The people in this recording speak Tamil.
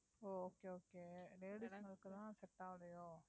ஓ okay okay ladies ங்களுக்கு தான் set ஆலயோ